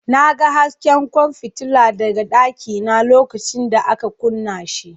Na ga hasken kwan fitila daga dakina lokacin da aka kunna shi.